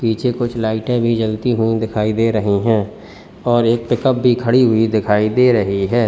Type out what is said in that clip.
पीछे कुछ लाइटें भी जलती हुई दिखाई दे रही हैं और एक पिकअप भी खड़ी हुई दिखाई दे रही है।